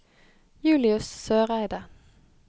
Julius Søreide